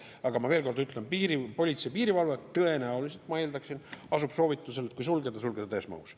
Aga ma veel kord ütlen, et politsei ja piirivalve tõenäoliselt, ma eeldaksin, soovitab, et kui sulgeda, siis sulgeda täies mahus.